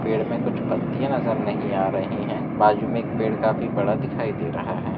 पेड़ में कुछ पत्तियां नजर नहीं आ रही है बाजू में एक पेड़ काफी बड़ा दिखाई दे रहा है।